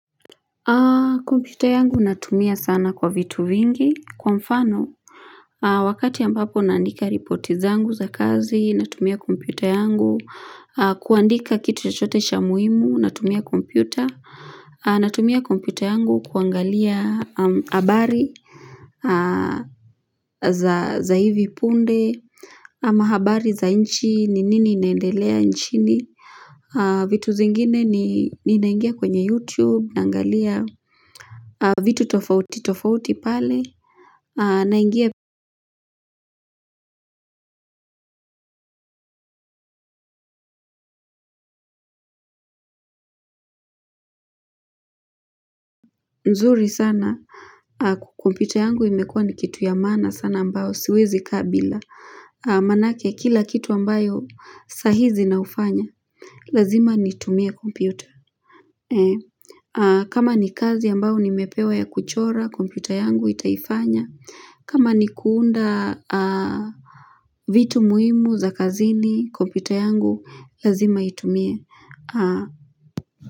Kompyuta yangu natumia sana kwa vitu vingi kwa mfano wakati ambapo naandika ripoti zangu za kazi natumia kompyuta yangu kuandika kitu chochhote cha muhimu natumia kompyuta natumia kompyuta yangu kuangalia habari za hivi punde ama habari za nchi ni nini inaendelea nchini vitu zingine ninaingia kwenye youtube naangalia vitu tofauti tofauti pale naingia nzuri sana kompyuta yangu imekua ni kitu ya maana sana ambao siwezi kaa bila manake kila kitu ambayo sahizi na ufanya lazima nitumie kompyuta kama ni kazi ambao nimepewa ya kuchora kompyuta yangu itaifanya kama ni kuunda vitu muhimu za kazini kompyuta yangu lazima itumie.